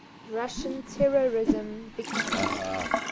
russian terrorism victims